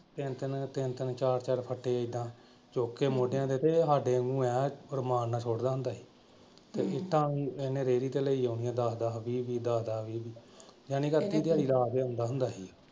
ਤਿੰਨ ਤਿੰਨ ਤਿੰਨ ਤਿੰਨ ਚਾਰ ਚਾਰ ਫੱਟੇ ਏਦਾਂ ਚੁੱਕ ਕੇ ਮੋਢਿਆਂ ਤੇ ਸਾਡੇ . ਮੈਂ ਕਿਹਾ ਰੁਮਾਨ ਨਾਲ ਸੁੱਟਦਾ ਹੁੰਦਾ ਸੀ ਤੇ ਇੱਟਾਂ ਵੀ ਉਹਨੇ ਰੇਹੜੀ ਤੇ ਲਈ ਆਉਣੀਆਂ ਦਸ ਦਸ ਵੀਹ ਵੀਹ ਦਸ ਦਸ ਵੀਹ ਵੀਹ। ਜਾਣੀ . ਦੇ ਅੰਦਰ ਅੰਦਰ ਹੁੰਦਾ ਸੀ।